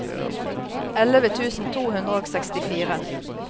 elleve tusen to hundre og sekstifire